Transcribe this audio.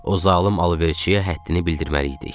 O zalım alverçiyə həddini bildirməliydik.